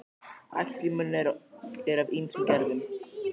Æxli í munni eru af ýmsum gerðum.